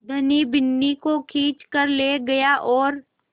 धनी बिन्नी को खींच कर ले गया और